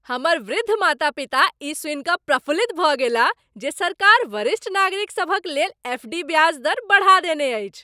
हमर वृद्ध माता पिता ई सुनि कऽ प्रफुल्लित भऽ गेलाह जे सरकार वरिष्ठ नागरिकसभक लेल एफ. डी. ब्याज दर बढ़ा देने अछि।